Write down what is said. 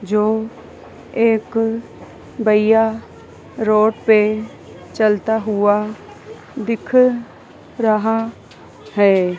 जो एक भैय्या रोड पे चलता हुआ दिख रहा है।